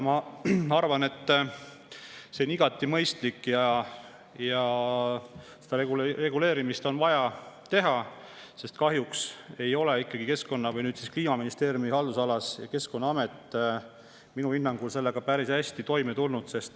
Ma arvan, et see on igati mõistlik ja seda on vaja reguleerida, sest kahjuks ei ole nüüd Kliimaministeeriumi haldusalas olev Keskkonnaamet minu hinnangul sellega ikkagi päris hästi toime tulnud.